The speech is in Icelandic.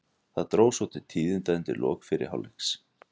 Það dró svo til tíðinda undir lok fyrri hálfleiks.